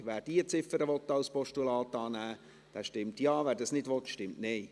Wer diese Ziffer als Postulat annehmen will, stimmt Ja, wer dies nicht will, stimmt Nein.